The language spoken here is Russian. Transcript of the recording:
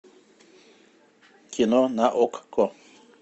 кино на окко